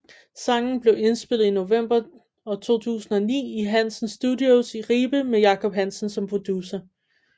Sangen blev indspillet i november 2009 i Hansen Studios i Ribe med Jacob Hansen som producer